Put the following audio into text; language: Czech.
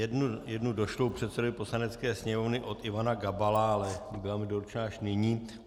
Jednu došlou předsedovi Poslanecké sněmovny od Ivana Gabala, ale byla mi doručena až nyní.